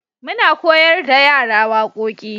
muna koyar da yara waƙoƙi